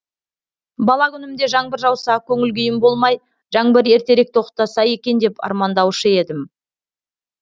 бала күнімде жаңбыр жауса көңіл күйім болмай жаңбыр ертерек тоқтаса екен деп армандаушы едім